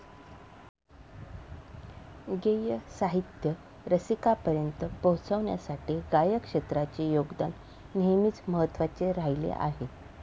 गेय साहित्य रसिकांपर्यंत पोहचण्यासाठी गायन क्षेत्राचे योगदान नेहमीच महत्वाचे राहीले आहे.